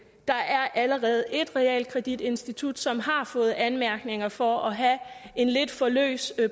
der er allerede et realkreditinstitut som har fået anmærkninger for at have en lidt for løs